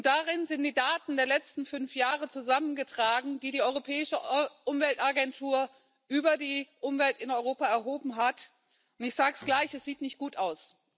Darin sind die Daten der letzten fünf Jahre zusammengetragen, die die Europäische Umweltagentur über die Umwelt in Europa erhoben hat. Ich sage es gleich Es sieht nicht gut aus.